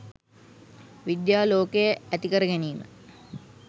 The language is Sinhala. විද්‍යා ලෝකය ඇති කරගැනීම